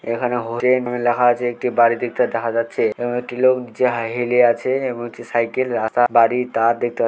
এখানে লেখা আছে একটি বাড়ি দেখতে দেখা যাচ্ছে এবং একটি লোক যাই হেলে আছে এবং একটি সাইকেল রাখা বাড়ি তা দেখতে --